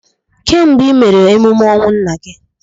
Kedu mgbe I mere emume ọnwụ nna gị?